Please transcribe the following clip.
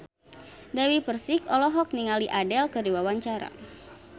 Dewi Persik olohok ningali Adele keur diwawancara